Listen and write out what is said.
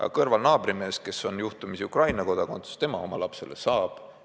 Aga kõrval naabrimees, kes on juhtumisi Ukraina kodakondsusega, tema oma lapsele saab.